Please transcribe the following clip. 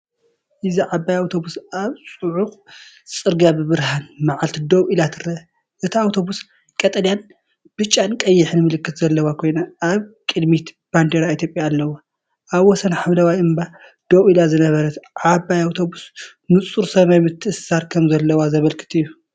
እዚ ዓባይ ኣውቶቡስ ኣብ ጽዑቕ ጽርግያ ብብርሃን መዓልቲ ደው ኢላ ትረአ። እታ ኣውቶቡስ ቀጠልያንብጫንቀይሕን ምልክት ዘለዋ ኮይና፣ ኣብ ቅድሚት ባንዴራ ኢትዮጵያ ኣለዋ። ኣብ ወሰን ሓምላይ እምባ ደው ኢላ ዝነበረት ዓባይ ኣውቶቡስ ንጹር ሰማይ ምትእስሳር ከም ዘሎ ዘመልክት እዩ።